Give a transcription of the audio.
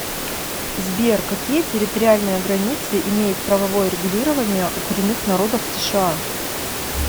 сбер какие территориальные границы имеет правовое регулирование у коренных народов сша